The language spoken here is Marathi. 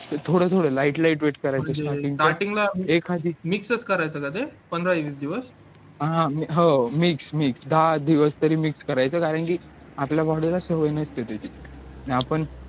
तर थोडं थोडं light light wait करायचं starting ला एखादी हो ह mix mix दहा दिवस तरी mix करायचं कारण की आपल्या body ला सवय नसते त्याची न आपण